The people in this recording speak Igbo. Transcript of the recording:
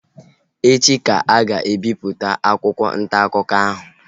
Echi ka a ga-ebipụta akwụkwọ ntaakụkọ ahụ